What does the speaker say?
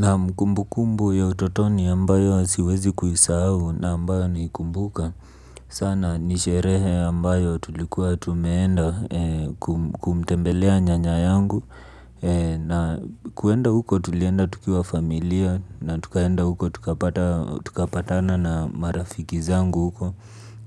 Naam. Kumbukumbu ya utotoni ambayo siwezi kuisahau na ambayo naikumbuka sana nisherehe ambayo tulikuwa tumeenda kumtembelea nyanya yangu. Na kwenda huko tulienda tukiwa familia na tukaenda huko tukapatana na marafiki zangu huko.